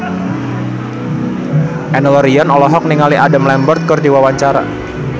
Enno Lerian olohok ningali Adam Lambert keur diwawancara